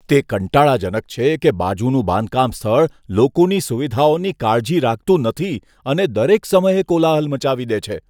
કંટાળાજનક છે કે બાજુનું બાંધકામ સ્થળ લોકોની સુવિધાઓની કાળજી રાખતું નથી અને દરેક સમયે કોલાહલ મચાવી દે છે.